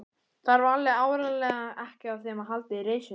Þarf alveg áreiðanlega ekki á þeim að halda í reisunni.